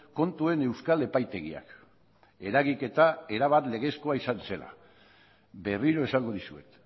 kontuen euskal epaitegiak eragiketa erabat legezkoa izan zela berriro esango dizuet